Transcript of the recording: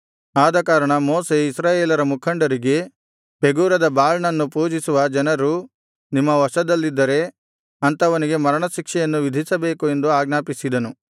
ಆದಕಾರಣ ಮೋಶೆ ಇಸ್ರಾಯೇಲರ ಮುಖಂಡರಿಗೆ ಪೆಗೋರದ ಬಾಳ್ ನನ್ನು ಪೂಜಿಸುವ ಜನರು ನಿಮ್ಮ ವಶದಲ್ಲಿದ್ದರೆ ಅಂಥವನಿಗೆ ಮರಣ ಶಿಕ್ಷೆಯನ್ನು ವಿಧಿಸಬೇಕು ಎಂದು ಆಜ್ಞಾಪಿಸಿದನು